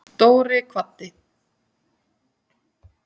Dóri kvaddi.